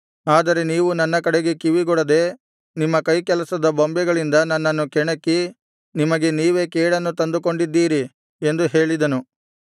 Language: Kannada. ಆದರೆ ನೀವು ನನ್ನ ಕಡೆಗೆ ಕಿವಿಗೊಡದೆ ನಿಮ್ಮ ಕೈಕೆಲಸದ ಬೊಂಬೆಗಳಿಂದ ನನ್ನನ್ನು ಕೆಣಕಿ ನಿಮಗೆ ನೀವೇ ಕೇಡನ್ನು ತಂದುಕೊಂಡಿದ್ದೀರಿ ಎಂದು ಹೇಳಿದನು